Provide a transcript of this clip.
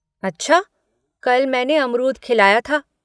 अच्छा कल मैंने अमरूद खिलाया था।